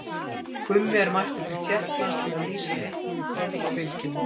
Gummi er mættur til Tékklands til að lýsa leiknum í kvöld á Bylgjunni.